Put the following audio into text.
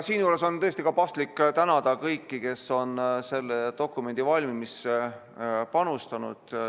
Siinjuures on paslik tänada kõiki, kes on selle dokumendi valmimisse panustanud.